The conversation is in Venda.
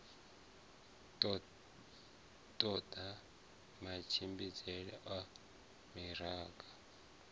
todea matshimbidzele a u angaredza